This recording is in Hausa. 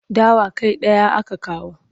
Dawa kai ɗaya aka kawo.